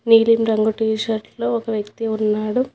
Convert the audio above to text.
నీలిమ్ రంగు T shirt లో ఒక వ్యక్తి ఉన్నాడు.